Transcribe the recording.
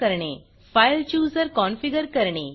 file Chooserफाईल chooser configure करणे